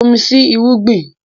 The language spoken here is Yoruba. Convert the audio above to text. Bomi sí irúgbìn!